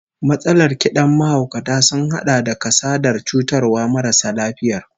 Matsalar kidan mahaukata sun hada da kasadar cutarwar marasa lafiyar